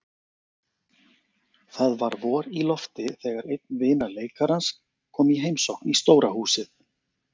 Það var vor í lofti þegar einn vina leikarans kom í heimsókn í stóra húsið.